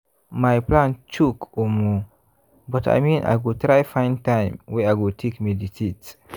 my plan choke omo!!! but i mean i go try find time wey i go take meditate.